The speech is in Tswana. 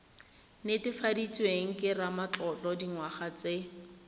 netefaditsweng ke ramatlotlo dingwaga tse